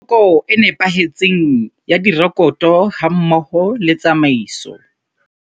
Poloko e nepahetseng ya direkoto hammoho le tsamaiso.